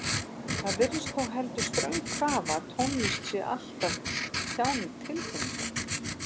Það virðist þó heldur ströng krafa að tónlist sé alltaf tjáning tilfinninga.